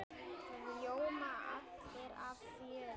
Það ljóma allir af fjöri.